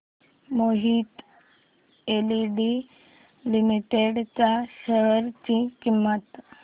Mohit industries limited च्या share ची किंमत